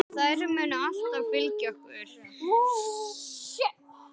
Þær munu alltaf fylgja okkur.